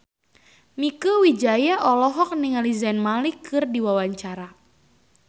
Mieke Wijaya olohok ningali Zayn Malik keur diwawancara